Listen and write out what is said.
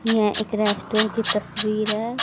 यह एक रेस्टोरेंट की तस्वीर है।